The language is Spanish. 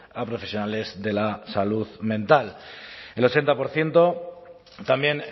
a profesionales de la salud mental el ochenta por ciento también